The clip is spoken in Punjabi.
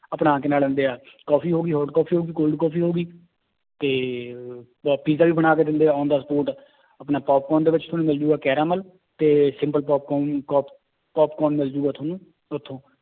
ਆਪਣਾ ਕੀ ਨਾਂ ਲੈਂਦੇ ਹੈ ਕੋਫ਼ੀ ਹੋ ਗਈ hot ਕੋਫ਼ੀ ਹੋ ਗਈ cold ਕੋਫ਼ੀ ਹੋ ਗਈ ਤੇ ਅਹ ਪੀਜਾ ਵੀ ਬਣਾ ਕੇ ਦਿੰਦੇ ਹੈ on the spot ਆਪਣਾ ਪੋਪ ਕੋਰਨ ਦੇ ਵਿੱਚ ਤੁਹਾਨੂੰ ਮਿਲ ਜਾਊਗਾ caramel ਤੇ simple ਪੋਪਕੋਰਨ ਪੋਪਕੋਰਨ ਮਿਲ ਜਾਊਗਾ ਤੁਹਾਨੂੰ ਉੱਥੋਂ